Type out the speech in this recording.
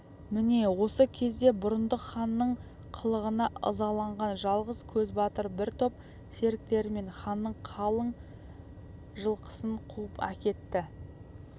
міне осы кезде бұрындық ханның қылығына ызаланған жалғыз көзбатыр бір топ серіктерімен ханның қалың жылқысын қуып әкетті